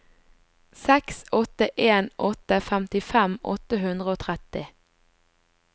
seks åtte en åtte femtifem åtte hundre og tretti